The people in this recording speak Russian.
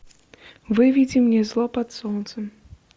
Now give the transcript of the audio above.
выведи мне зло под солнцем